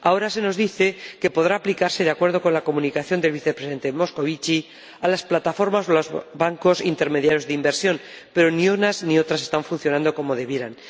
Ahora se nos dice que podrá aplicarse, de acuerdo con la comunicación del Vicepresidente Moscovici, a las plataformas de los bancos intermediarios de inversión, pero ni unas ni otras están funcionando como debieran.